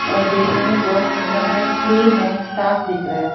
और देखने में बहुत सुंदर है क्लीन है साफ दिख रहा है।